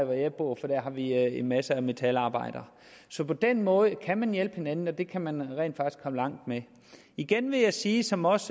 hvor jeg bor for der har vi en masse metalarbejdere så på den måde kan man hjælpe hinanden og det kan man rent faktisk komme langt med igen vil jeg sige som også